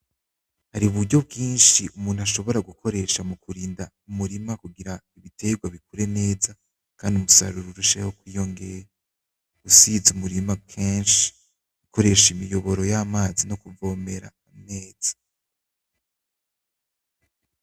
Hari uburyo bw'inshi umuntu ashobora gukoresha mu kurinda urima kugira ibitegwa bikure neza kugira kandi umusaruro urusheho kwiyongera gusiza, umurima kenshi gukoresha imiyoboro y'amazi no kuvomera neza.